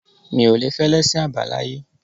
Mi ò le fẹ́ ẹlẹ́sìn àbáláyé.